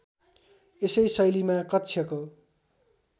यसै शैलीमा कक्षको